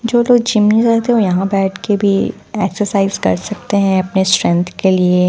जो लोग जिम जाते हैं वो यहाँ बैठके भी एक्सरसाइज कर सकते हैं अपने स्ट्रेंथ के लिए--